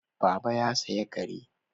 Baba ya saya kare